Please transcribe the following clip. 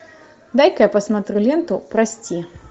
дай ка я посмотрю ленту прости